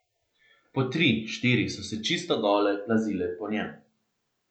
Po tri, štiri so se čisto gole plazile po njem.